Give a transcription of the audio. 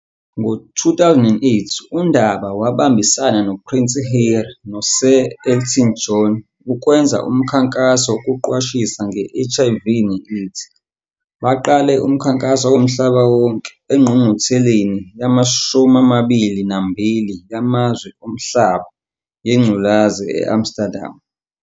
Ngo-2018 uNdaba wabambisana noPrince Harry, noSir Elton John ukwenza umkhankaso wokuqwashisa nge- HIV ne-AIDS. Baqale umkhankaso womhlaba wonke engqungqutheleni yama-22 yamazwe omhlaba yengculazi e-Amsterdam.